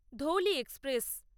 Dhauli express